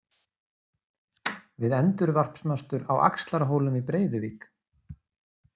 Við endurvarpsmastur á Axlarhólum í Breiðuvík.